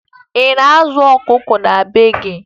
Ị na-azụ ọkụkọ na be gị?